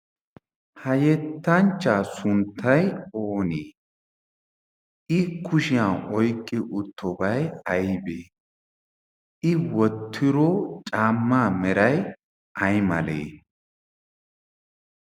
ha yettanchcha sunttai oonii i kushiyan oyqqi uttobay aybee i wotiro caamma meray ay malee